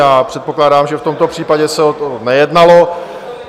Já předpokládám, že v tomto případě se o to nejednalo.